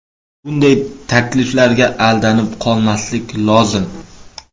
Bunday takliflarga aldanib qolmaslik lozim.